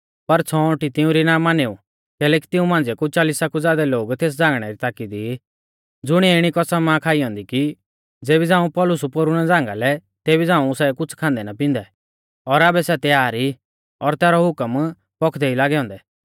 पर छ़ौंअटी तिउंरी ना मानेऊ कैलैकि तिऊं मांझ़िया कु चालिसा कु ज़ादै लोग तेस झ़ांगणै री ताकी दी ज़ुणिऐ इणी कसम आ खाई ऐन्दी कि ज़ेबी झ़ांऊ सै पौलुस पोरु ना झ़ांगा लै तेबी झ़ांऊ सै कुछ़ खांदै ना पिंदै और आबै सै तैयार ई और तैरौ हुकम पौखदै ई लागै औन्दै